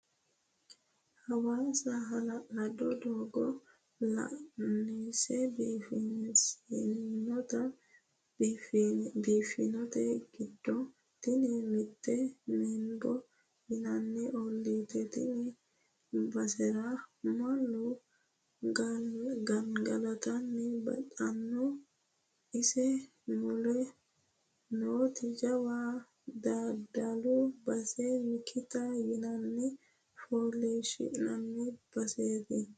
Hawaasa hala'lado doogo loonse biifinsonnite giddo tini mitteete Menbo yinanni ollati tene basera mannu gangalatta baxano ise mule nooti jawa daddalu base mikita yinanni fooliishshi'nanni baseti.